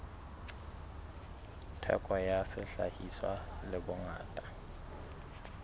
theko ya sehlahiswa le bongata